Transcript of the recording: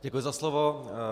Děkuji za slovo.